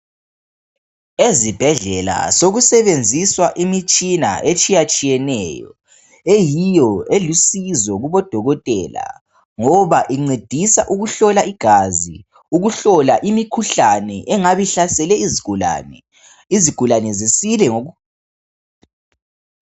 Ezibhedlela sokusebenziswa imitshina etshiya tshiyeneyo eyiyo elusizo kubodokotela ngoba incedisa ukuhlola igazi ukuhola imikhuhlane engabe ihlasele izigulane, izigulane zisile ngoku.